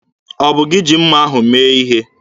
Ọ bụ gị ji mma ahụ mee ihe?